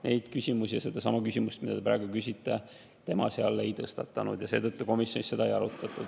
Neid küsimusi ja seda küsimust, mida te praegu küsite, tema seal ei tõstatanud ja seetõttu komisjonis seda ei arutatud.